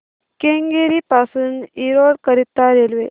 केंगेरी पासून एरोड करीता रेल्वे